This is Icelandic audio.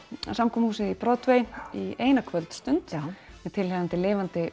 samkomuhúsið í Broadway eina kvöldstund með tilheyrandi lifandi